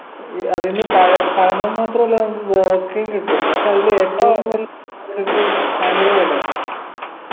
ഏർ അതിന്ന് പഴ പഴങ്ങൾ മാത്രമല്ല നമുക്ക് കോവക്കയും കിട്ടും പക്ഷെ അതിലേറ്റവും ഭയങ്കര വിലയാ